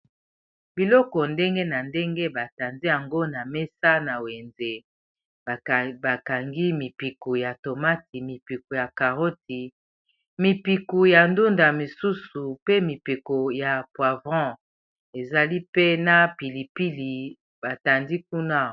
biloko ndenge na ndenge batandi yango na mesa na wenze bakangi mipiku ya tomati mipiku ya carroti mipiku ya ndunda mosusu pe mipiko ya poivron ezali pena pilipili batandi kuna